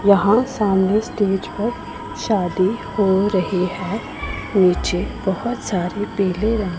यहां सामने स्टेज पर शादी हो रही है नीचे बहोत सारे पीले रंग--